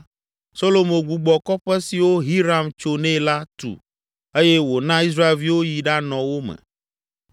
Solomo gbugbɔ kɔƒe siwo Hiram tso nɛ la tu eye wòna Israelviwo yi ɖanɔ wo me.